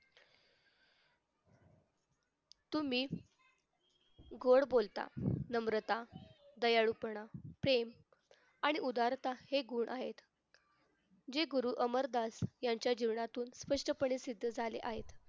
तुम्ही गोड बोलता नम्रता दयाळूपणा प्रेम आणि उदारता हे गुण आहेत जे गुरु अमरदास यांच्या जीवनातून स्पष्टपणे सिद्ध झाले आहेत.